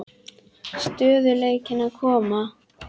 Stöðugleikinn að koma?